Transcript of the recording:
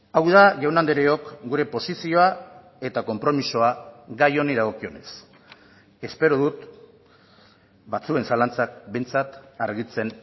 hau da jaun andreok gure posizioa eta konpromisoa gai honi dagokionez espero dut batzuen zalantzak behintzat argitzen